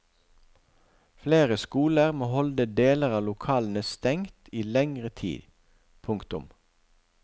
Flere skoler må holde deler av lokalene stengt i lengre tid. punktum